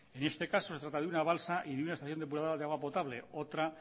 en este caso se trata de una balsa y de una estación depuradora de agua potable otra